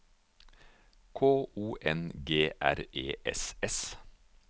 K O N G R E S S